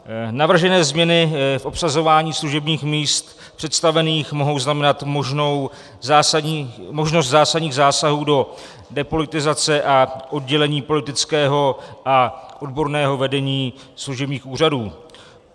Navržené změny v obsazování služebních míst představených mohou znamenat možnost zásadních zásahů do depolitizace a oddělení politického a odborného vedení služebních úřadů.